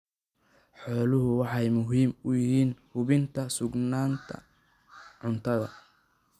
Xooluhu waxay muhiim u yihiin hubinta sugnaanta cuntada.